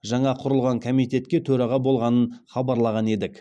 жаңа құрылған комитетке төраға болғанын хабарлаған едік